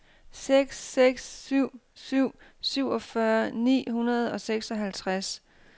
seks seks syv syv syvogfyrre ni hundrede og seksoghalvtreds